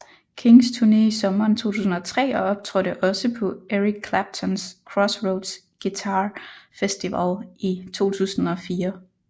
Kings turne i sommeren 2003 og optrådte også på Eric Claptons Crossroads Guitar Festival i 2004